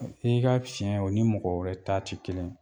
I ka cɛn o ni mɔgɔ wɛrɛ ta tɛ kelen ye.